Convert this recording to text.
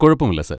കുഴപ്പമില്ല സർ.